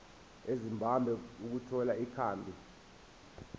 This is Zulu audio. ezimbabwe ukuthola ikhambi